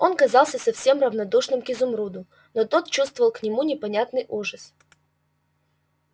он казался совсем равнодушным к изумруду но тот чувствовал к нему непонятный ужас